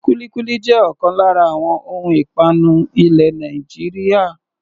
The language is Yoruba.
Kúlíkúlí jẹ́ ọ̀kan lára àwọn ohun ìpanu ilẹ̀ Nàìjíríà.